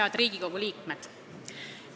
Head Riigikogu liikmed!